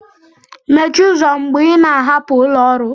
mechie ụzọ mgbe ị na-ahapụ ụlọ ọrụ